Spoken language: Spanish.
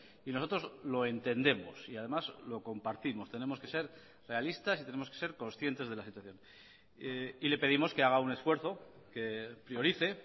y nosotros lo entendemos y además lo compartimos tenemos que ser realistas y tenemos que ser conscientes de la situación y le pedimos que haga un esfuerzo que priorice